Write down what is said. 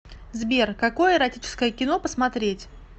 сбер какое эротическое кино посмотреть